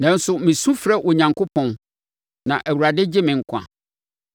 Nanso, mesu frɛ Onyankopɔn, na Awurade gye me nkwa.